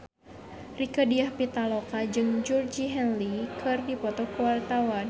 Rieke Diah Pitaloka jeung Georgie Henley keur dipoto ku wartawan